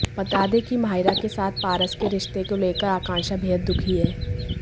बता दें कि माहिरा के साथ पारस के रिश्ते को लेकर आंकाक्षा बेहद दुखी हैं